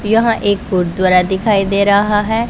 यहां एक गुरुद्वारा दिखाई दे रहा है।